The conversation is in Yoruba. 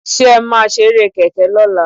Ṣé ẹ máa ṣeré kẹ̀kẹ́ lọ́la?